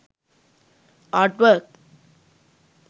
art work